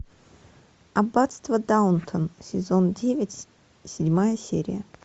аббатство даунтон сезон девять седьмая серия